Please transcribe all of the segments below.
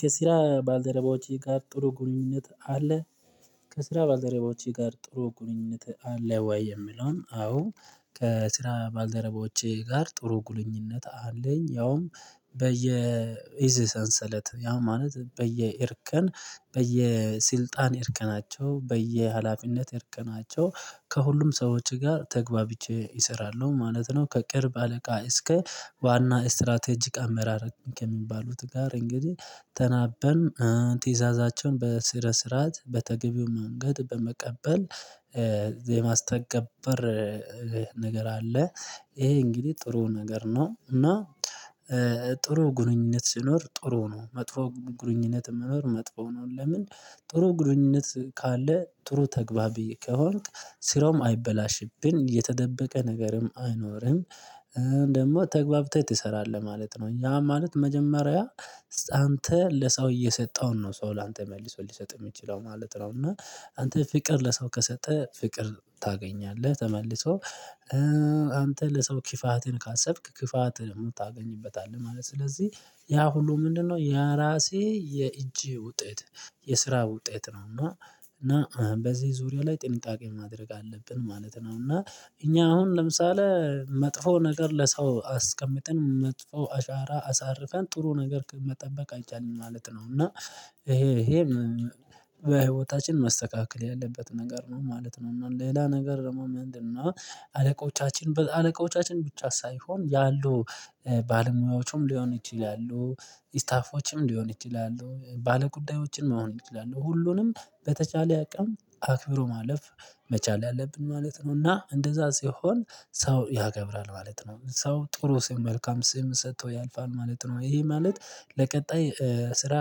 ከስራ ባልደረባዎቼ ጋር ጥሩ ግንኙነት አለ። ከስራ ባልደረባዎቼ ጋር ጥሩ ጉንኙነት አለ ወይ? የምለውም አዎ። ከስራ ባልደረቦቼ ጋር ጥሩ ጉንኙነት አለኝ ያውም። በየ ኢዝ ሰንሰለት ያ ማለት በየእርከን በየስልጣን እርከናቸው በየሀላፊነት እርከናቸው ከሁሉም ሰዎች ጋር ተግባብቼ እሰራለሁ ማለት ነው። ከቅርብ አለቃ እስከ ዋና ስትራቴጂክ አመራር ከሚባሉት ጋር እንግዲህ ተናበን ትዕዛዛቸውን በስረነ ስርዓት በተገቢው መንገድ በመቀበል የማስተገበር ነገር አለ። ይሄ እንግዲህ ጥሩ ነገር ነው። እና ጥሩ ግንኙነት ሲኖር ጥሩ ነው። መጥፎ ግንኙነት መኖር መጥፎ ነው። ለምን? ጥሩ ግንኙነት ካለ ጥሩ ተግባብ ከሆንክ ስራውም አይበላሽብን የተደበቀ ነገርም አይኖርም። ደግሞ ተግባብተህ ትሰራለህ ማለት ነው። ያ ማለት መጀመሪያ አንተ ለሰው እየሰጠውን ነው ሰው ላንተ መልሶ ሊሰጥ የሚችለው ማለት ነው። እና አንተ ፍቅር ለሰው ከሰጠ ፍቅር ታገኛለህ ተመልሶ። አንተ ለሰው ክፋትን ካሰብክ ክፋትን እውነት ታገኝበታለሁ ማለት ነው። ስለዚህ ያ ሁሉ ምንድነው? የራሴ የእጄ ውጤት የስራ ውጤት ነው። እና በዚህ ዙሪያ ላይ ጥንቃቄ ማድረግ አለብን ማለት ነው። እና እኛ አሁን ለምሳሌ መጥፎ ነገር ለሰው አስቀምጥን መጥፎ አሻራ አሳርፈን ጥሩ ነገር መጠበቅ አይቻልም ማለት ነው። እና ይሄ ይሄን በህይወታችን መስተካከል ያለበት ነገር ነው ማለት ነው። ሌላ ነገር ደግሞ ምንድነው? አለቆቻችን አለቆቻችን ብቻ ሳይሆን ያሉ ባለሙያዎቹም ሊሆን ይችላሉ ስታፎችም ሊሆን ይችላሉ ባለጉዳዮችን መሆን ይችላሉ ሁሉንም በተቸለ አቅም አክብሮ ማለፍ መቻል አለብን ማለት ነው። እና እንደዛ ሲሆን ሰው ያካብራል ማለት ነው። ሰው ጥሩ ስም መልካም ስም ሰጥቶ ያልፋል ማለት ነው። ይሄ ማለት ለቀጣይ ስራ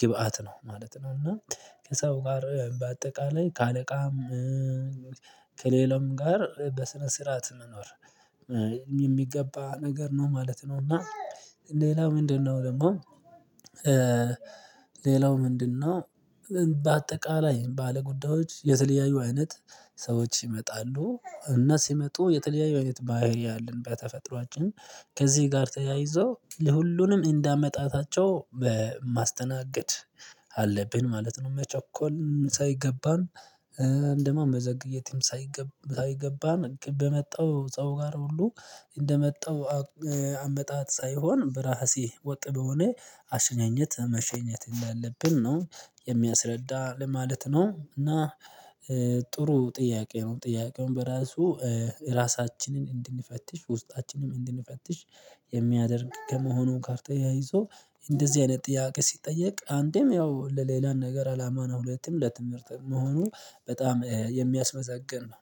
ግብአት ነው ማለት ነው። እና ከሰው ጋር በአጠቃላይ ከአለቃም ከሌላም ጋር በስነ ስርዓት መኖር የሚገባ ነገር ነው ማለት ነው። እና ሌላው ምንድነው? ደግሞ ሌላው ምንድነው? በአጠቃላይ ባለጉዳዮች የተለያዩ አይነት ሰዎች ይመጣሉ እና ሲመጡ የተለያዩ አይነት ባህሪይ አለን በተፈጥሮአችን ከዚህ ጋር ተያይዞ ለሁሉንም እንዳአመጣጣቸው ማስተናገድ አለብን ማለት ነው። መቸኮል ሳይገባን ወይም ደግሞ መዘግየትም ሳይገባ ሳይገባን በመጣው ሰው ጋር ሁሉ እንደመጣው አመጣጥ ሳይሆን በራሴ ወጥ በሆነ አሸኛኘት መሸኘት እንዳለብን ነው የሚያስረዳ ለማለት ነው። እና ጥሩ ጥያቄ ነው። ጥያቄውን በራሱ ራሳችንን እንድንፈትሽ ውስጣችንም እንድንፈትሽ የሚያደርግ ከመሆኑ ጋር ተያይዞ እንደዚህ አይነት ጥያቄ ሲጠየቅ አንዴም ያው ለሌላን ነገር አላማ ነው ሁለቱም ለትምህርት መሆኑ በጣም የሚያስመዘግን ነው።